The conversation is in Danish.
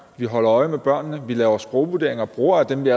vi holder øje med børnene vi laver sprogvurderinger og bruger dem vi